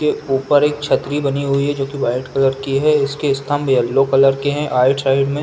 जो ऊपर एक छतरी बनी हुई है जो कि वाइट कलर की है। इसके स्तंभ येलो कर के हैं। आइट साइड में --